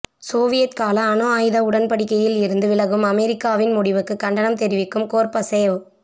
Soviet கால அணு ஆயுத உடன்படிக்கையில் இருந்து விலகும் அமெரிக்காவின் முடிவுக்கு கண்டனம் தெரிவிக்கும் கோர்பசேவ்